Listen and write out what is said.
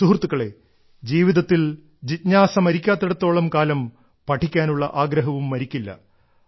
സുഹൃത്തുക്കളേ ജീവിതത്തിൽ ജിജ്ഞാസ മരിക്കാത്തിടത്തോളം കാലം പഠിക്കാനുള്ള ആഗ്രഹവും മരിക്കില്ല